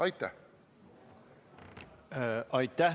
Aitäh!